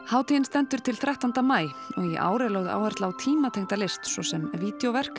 hátíðin stendur til þrettánda maí og í ár er lögð áhersla á list svo sem